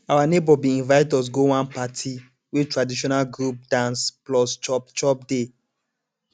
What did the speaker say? our neighbor bin invite us go one party wey traditional group dance plus chop chop dey